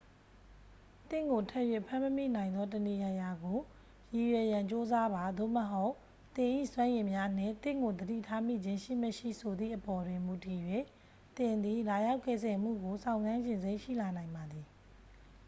သင့်ကို ထပ်၍ဖမ်းမမိနိုင်သော တစ်နေရာရာကို ရည်ရွယ်ရန်ကြိုးစားပါ သို့မဟုတ် သင်၏စွမ်းရည်များနှင့် သင့်ကိုသတိထားမိခြင်းရှိ မရှိ ဆိုသည့်အပေါ်တွင်မူတည်၍ သင်သည် လာရောက်ကယ်ဆယ်မှုကို စောင့်ဆိုင်းချင်စိတ် ရှိလာနိုင်ပါသည်